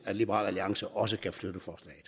at liberal alliance også kan støtte